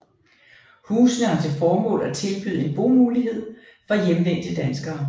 Husene har til formål at tilbyde en boligmulighed for hjemvendte danskere